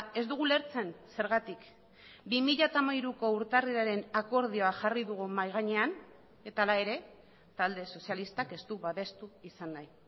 ez dugu ulertzen zergatik bi mila hamairuko urtarrilaren akordioa jarri dugu mahai gainean eta hala ere talde sozialistak ez du babestu izan nahi